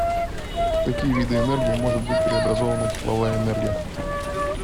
в какие виды энергии может быть преобразована тепловая энергия